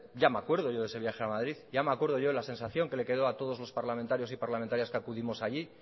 ya me acuerdo yo de ese viaje a madrid ya me acuerdo yo de la sensación que le quedó a todos los parlamentarios y parlamentarias que acudimos allí